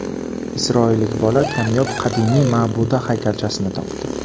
Isroillik bola kamyob qadimiy ma’buda haykalchasini topdi.